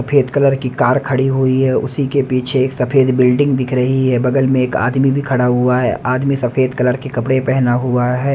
सफेद कलर की कार खड़ी हुई है उसी के पीछे एक सफेद बिल्डिंग दिख रही है बगल में एक आदमी भी खड़ा हुआ है आदमी सफेद कलर के कपड़े पहना हुआ है।